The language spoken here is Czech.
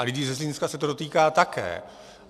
A lidí ze Zlínska se to dotýká také.